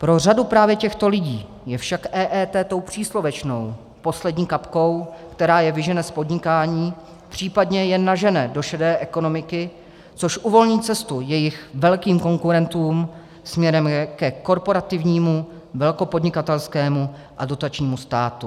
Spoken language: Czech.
Pro řadu právě těchto lidí je však EET tou příslovečnou poslední kapkou, která je vyžene z podnikání, případně je nažene do šedé ekonomiky, což uvolní cestu jejich velkým konkurentům směrem ke korporativnímu, velkopodnikatelskému a dotačnímu státu.